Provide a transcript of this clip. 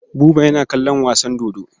Buba yana kallon wasan dodo.